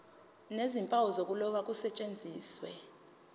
nezimpawu zokuloba kusetshenziswe